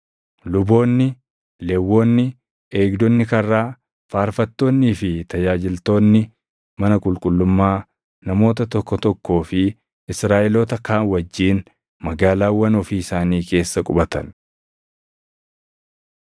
Luboonni, Lewwonni, eegdonni karraa, faarfattoonnii fi tajaajiltoonni mana qulqullummaa namoota tokko tokkoo fi Israaʼeloota kaan wajjin magaalaawwan ofii isaanii keessa qubatan.